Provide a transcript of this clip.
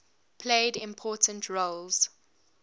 played important roles